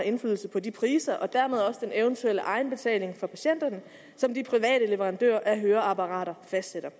indflydelse på de priser og dermed også den eventuelle egenbetaling for patienterne som de private leverandører af høreapparater fastsætter